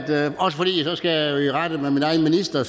jeg også fordi så skal jeg i rette med min egen minister